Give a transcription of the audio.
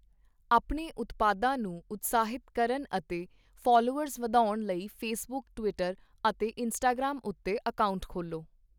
ਆਪਣੇ ਉਤਪਾਦਾਂ ਨੂੰ ਉਤਸ਼ਾਹਿਤ ਕਰਨ ਅਤੇ ਫਾਲੋਅਰਸ ਵਧਾਉਣ ਲਈ ਫੇਸਬੁੱਕ, ਟਵਿੱਟਰ ਅਤੇ ਇੰਸਟਾਗ੍ਰਾਮ ਉੱਤੇ ਅਕਾਊਂਟ ਖੋਲ੍ਹੋ।